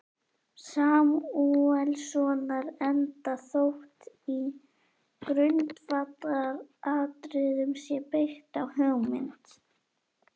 Samúelssonar, enda þótt í grundvallaratriðum sé byggt á hugmynd